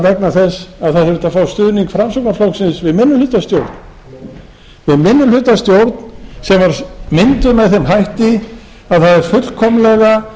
vegna þess að það þurfti að fá stuðning framsóknarflokksins við minnihlutastjórn minnihlutastjórn sem var mynduð með þeim hætti að það er fullkomlega